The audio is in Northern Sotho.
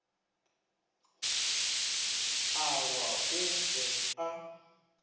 a wa o be a